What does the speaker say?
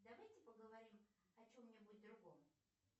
давайте поговорим о чем нибудь другом